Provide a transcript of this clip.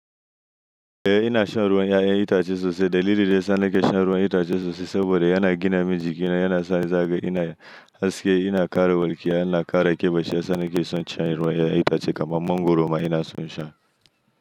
Eh ina shan ruwan 'ya'yan itace sosai. Dalili da yasa nake shan ruwan itace sosai saboda yana gina min jiki na yana sa ni zagaya. Ina haske, yana kare warkiya, yana kare ƙiba. Shiyasa nake son shan ruwan 'ya'yan itace kamar mangwaro ma ina son sha.